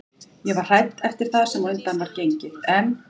Ég var hrædd eftir það sem á undan var gengið en